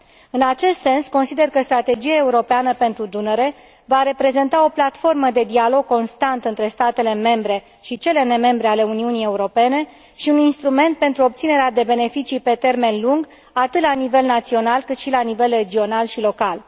În acest sens, consider că Strategia Europeană pentru Dunăre va reprezenta o platformă de dialog constant între statele membre și cele nemembre ale Uniunii Europene și un instrument pentru obținerea de beneficii pe termen lung atât la nivel național, cât și la nivel regional și local.